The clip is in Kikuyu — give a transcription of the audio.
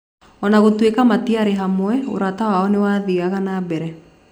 O na gũtuĩka matiarĩ hamwe, ũrata wao nĩ wathiaga na mbere.